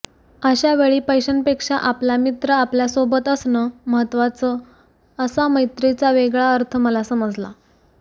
अशा वेळी पैश्यांपेक्षा आपला मित्र आपल्या सोबत असणं महत्त्वाचं असा मैत्रीचा वेगळा अर्थ मला समजला